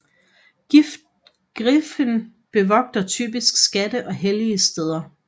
Griffen bevogter typisk skatte og hellige steder